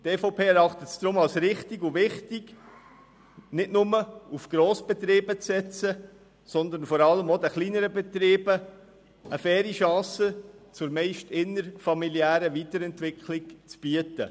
Die EVP-Fraktion erachtet es deshalb als richtig und wichtig, nicht nur auf Grossbetriebe zu setzen, sondern vor allem auch den kleineren Betrieben eine faire Chance zur meist innerfamiliären Weiterentwicklung zu bieten.